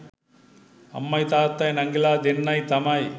අම්මයි තාත්තයි නංගිලා දෙන්නයි තමයි